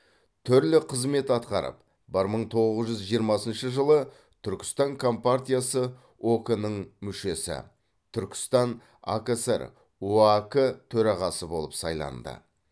түрлі қызмет атқарып бір мың тоғыз жүз жиырмасыншы жылы түркістан компартиясы ок нің мүшесі түркістан акср оак төрағасы болып сайланды